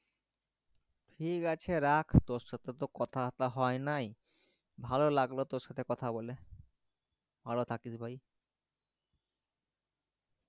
ঠিক আছে আছে রাখ তোরসাথে তো কথা বথা হই নাই ভালো লাগলো তোর সাথে কথা বলে ভালো থাকিস ভাই